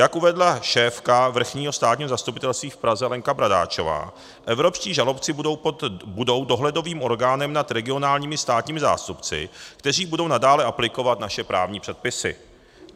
Jak uvedla šéfka Vrchního státního zastupitelství v Praze Lenka Bradáčová, evropští žalobci budou dohledovým orgánem nad regionálními státními zástupci, kteří budou nadále aplikovat naše právní předpisy.